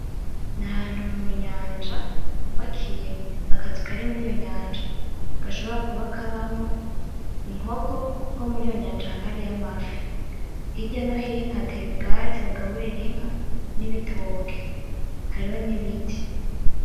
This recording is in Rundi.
N'ahantu munyanja hubakiye akazu kari muriyo nyanja, gashobora kuba kabamwo inkoko kuko muriyo nyanja haba hariyo amafi, hirya no hino hateye ubwatsi bagaburira inka n'ibitoke hariho n'ibiti.